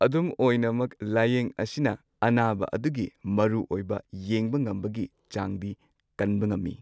ꯑꯗꯨꯝ ꯑꯣꯏꯅꯃꯛ ꯂꯥꯌꯦꯡ ꯑꯁꯤꯅ ꯑꯅꯥꯕ ꯑꯗꯨꯒꯤ ꯃꯔꯨꯑꯣꯢꯕ ꯌꯦꯡꯕꯉꯝꯕꯒꯤ ꯆꯥꯡꯗꯤ ꯀꯟꯕ ꯉꯝꯃꯤ꯫